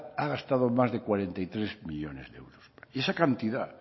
ha gastado más de cuarenta y tres millónes de euros esa cantidad